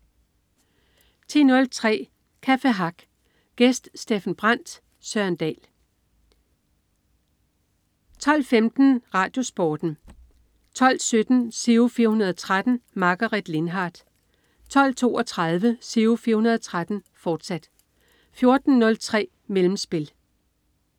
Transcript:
10.03 Café Hack. Gæst: Steffen Brandt. Søren Dahl 12.15 RadioSporten 12.17 Giro 413. Margaret Lindhardt 12.32 Giro 413, fortsat 14.03 Mellemspil